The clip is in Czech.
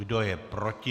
Kdo je proti?